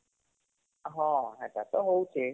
ହଁ ହେଟା ତ ହଉଛେ